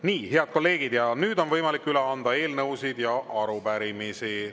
Nii, head kolleegid, nüüd on võimalik üle anda eelnõusid ja arupärimisi.